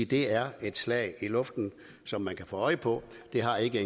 det er et slag i luften som man kan få øje på det har ikke